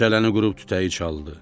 Cələni qurub tütəyi çaldı.